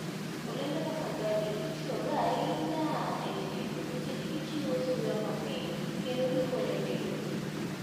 Olembe kaka garlic itiyogo ahinya e tedo nikech gichiwo suya mamit kendo gikonyo del.